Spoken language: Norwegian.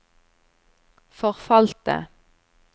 forfalte